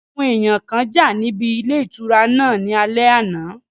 Àwọn èèyàn kan jà níbi ilé ìtura náà ní alẹ́ àná